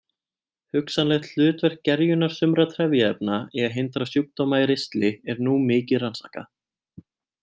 Hugsanlegt hlutverk gerjunar sumra trefjaefna í að hindra sjúkdóma í ristli er nú mikið rannsakað.